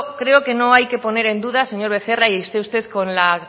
creo que no hay que poner en dudas señor becerra y esté usted con la